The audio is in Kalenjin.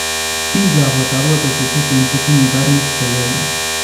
Biikab botabota chetuten kotinye kariik chelelach